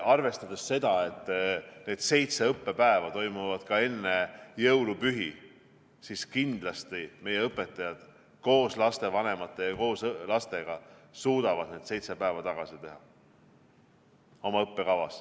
Arvestades seda, et need seitse õppepäeva toimuvad enne jõulupühi, siis kindlasti meie õpetajad koos lastevanemate ja lastega suudavad need seitse päeva oma õppekavas tagasi teha.